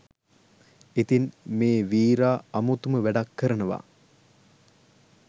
ඉතින් මේ වීරා අමුතුම වැඩක් කරනවා